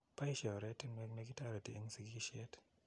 baishe oretinwek ne toreti eng sigisheet